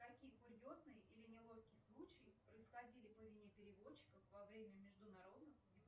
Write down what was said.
какие курьезные или неловкие случаи происходили по вине переводчиков во время международных